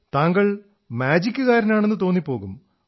താങ്കൾ മാജിക്കുകാരനാണെന്നു തോന്നിപ്പോകും